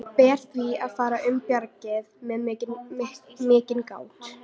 Ber því að fara um bjargið með mikilli gát.